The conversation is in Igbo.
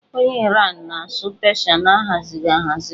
Onye Iran na-asụ Peeshịa na-ahazighị ahazi